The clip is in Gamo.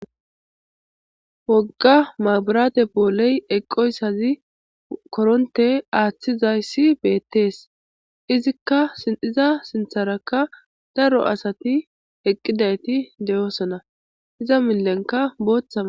wogga maburate booley eqqoyssazi koronte aaththizayssi beettees izikka sinxiza sintharakka daro asati eqqidayti deyoosona iza millenka booththama